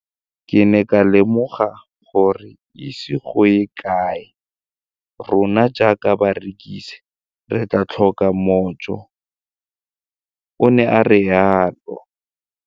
Ke ne ka lemoga gore go ise go ye kae rona jaaka barekise re tla tlhoka mojo, o ne a re jalo.